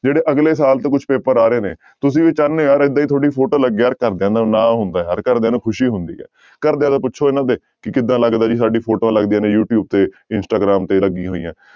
ਜਿਹੜੇ ਅਗਲੇ ਸਾਲ ਤੇ ਕੁਛ ਪੇਪਰ ਆ ਰਹੇ ਨੇ ਤੁਸੀਂ ਵੀ ਚਾਹੁਨੇ ਹੋ ਯਾਰ ਏਦਾਂ ਹੀ photo ਲੱਗੇ ਯਾਰ ਘਰਦਿਆਂ ਦਾ ਨਾਂ ਹੁੰਦਾ ਯਾਰ ਘਰਦਿਆਂ ਨੂੰ ਖ਼ੁਸ਼ੀ ਹੁੰਦੀ ਹੈ, ਘਰਦਿਆਂ ਨੂੰ ਪੁੱਛੋ ਇਹਨਾਂ ਦੇ ਕਿ ਕਿੱਦਾਂ ਲੱਗਦਾ ਵੀ ਸਾਡੀ ਫੋਟੋਆਂ ਲੱਗਦੀਆਂ ਨੇ ਯੂਟਿਊਬ ਤੇ ਇੰਸਟਾਗ੍ਰਾਮ ਤੇ ਲੱਗੀਆਂ ਹੋਈਆਂ।